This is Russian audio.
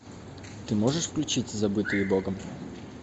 ты можешь включить забытые богом